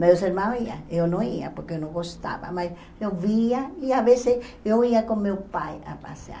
Meus irmãos iam, eu não ia, porque eu não gostava, mas eu via e, às vezes, eu ia com meu pai a passear.